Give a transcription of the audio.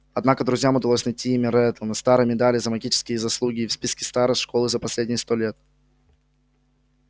однако друзьям удалось найти имя реддла на старой медали за магические заслуги и в списке старост школы за последние сто лет